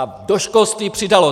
A do školství přidalo.